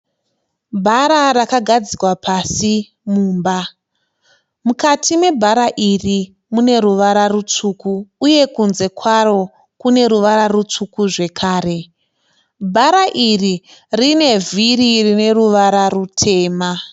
Bhara rakagadzikwa pasi mumba. Mukati mebhara iri mune ruvara ritsvuku uye kunze kwaro kune ruvara rutsvuku zvakare. Bhara iri rine vhiri rine ruvara rutema.